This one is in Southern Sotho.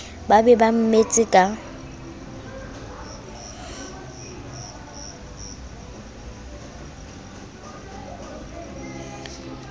ba be ba mmetse ka